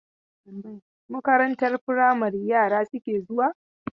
Makarantar firamari yara suke zuwa?